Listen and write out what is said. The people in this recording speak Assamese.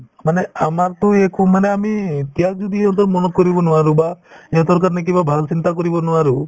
মানে আমাৰতো একো মানে আমি ত্যাগ যদি অন্তত মনত কৰিব নোৱাৰো বা ইহঁতৰ কাৰণে কিবা ভাল চিন্তা কৰিব নোৱাৰো